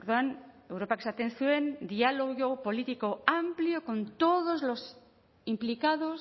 orduan europak esaten zuen diálogo político amplio con todos los implicados